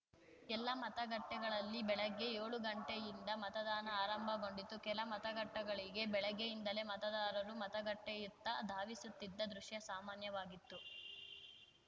ಎಲ್ಲ ಮತಗಟ್ಟೆಗಳಲ್ಲಿ ಬೆಳಗ್ಗೆ ಏಳು ಗಂಟೆಯಿಂದ ಮತದಾನ ಆರಂಭಗೊಂಡಿತು ಕೆಲ ಮತಗಟ್ಟೆಗಳಿಗೆ ಬೆಳಗ್ಗೆಯಿಂದಲೇ ಮತದಾರರು ಮತಗಟ್ಟೆಯತ್ತ ಧಾವಿಸುತ್ತಿದ್ದ ದೃಶ್ಯ ಸಾಮಾನ್ಯವಾಗಿತ್ತು